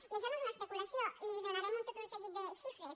i això no és una especulació li donarem tot un seguit de xifres